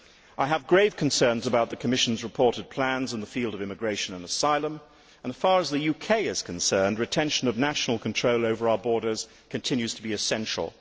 I have grave concerns about the Commission's reported plans in the field of immigration and asylum and, as far as the UK is concerned, retention of national control over our borders continues to be essential.